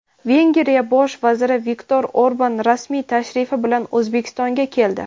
Vengriya Bosh vaziri Viktor Orban rasmiy tashrif bilan O‘zbekistonga keldi.